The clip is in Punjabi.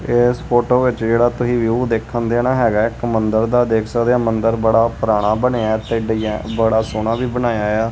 ਇਸ ਫੋਟੋ ਵਿੱਚ ਜਿਹੜਾ ਤੁਹੀ ਵਿਊ ਦੇਖਣ ਦੇ ਨਾ ਹੈਗਾ ਐ ਇੱਕ ਮੰਦਰ ਦਾ ਦੇਖ ਸਕਦੇ ਆ ਮੰਦਰ ਬੜਾ ਪੁਰਾਣਾ ਬਣਿਆ ਤੇ ਡਿਜ਼ਾਈਨ ਬੜਾ ਸੋਹਣਾ ਵੀ ਬਣਾਇਆ ਆ।